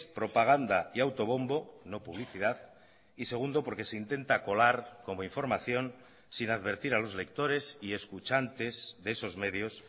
propaganda y autobombo no publicidad y segundo porque se intenta colar como información sin advertir a los lectores y escuchantes de esos medios